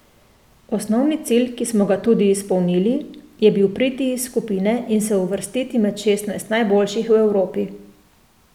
Osnovni cilj, ki smo ga tudi izpolnili, je bil priti iz skupine in se uvrstiti med šestnajst najboljših v Evropi.